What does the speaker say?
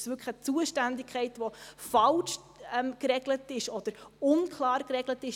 Ist es wirklich eine Zuständigkeit, die falsch oder unklar geregelt ist?